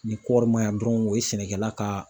Ni kɔɔri ma ɲa dɔrɔn o ye sɛnɛkɛla ka